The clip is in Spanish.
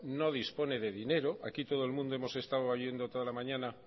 no dispone de dinero aquí todo el mundo hemos estado oyendo toda la mañana